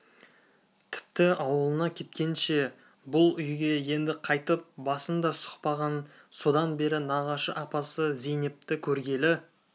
тіпті ауылына кеткенше бұл үйге енді қайтып басын да сұқпаған содан бері нағашы апасы зейнепті көргелі